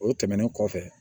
O tɛmɛnen kɔfɛ